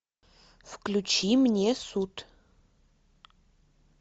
включи мне суд